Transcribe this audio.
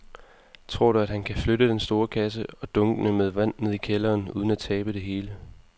Tror du, at han kan flytte den store kasse og dunkene med vand ned i kælderen uden at tabe det hele?